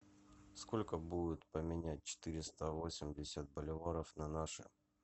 сколько будет поменять четыреста восемьдесят боливаров на наши